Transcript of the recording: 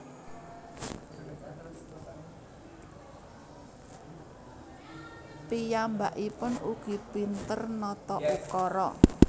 Piyambaikpun ugi pinter nata ukara